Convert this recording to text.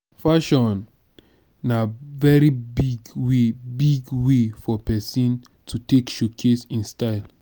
fashion na very big way big way for persin to take showcase in style